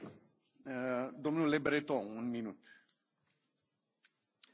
Monsieur le Président, il est urgent de lutter contre l'immigration irrégulière.